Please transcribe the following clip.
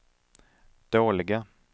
dåliga